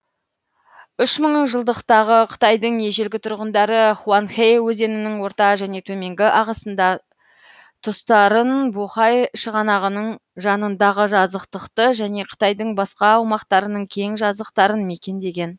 үш мыңжылдықтағы қытайдың ежелгі тұрғындары хуанхэ өзенінің орта және төменгі ағысында тұстарын бохай шығанағының жанындағы жазықтықты және қытайдың басқа аумақтарының кең жазықтарын мекендеген